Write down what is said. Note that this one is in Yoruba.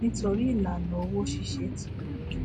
nítorí ìlànà òwò ṣíṣe ti rọ jù